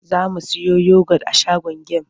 Za mu siyo yogot a shagon gem.